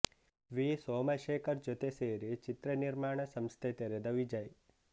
V Somashekar ಜೊತೆ ಸೇರಿ ಚಿತ್ರ ನಿರ್ಮಾಣ ಸಂಸ್ಥೆ ತೆರೆದ ವಿಜಯ್